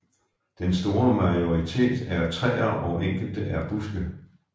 Den store majoritet er træer og enkelte er buske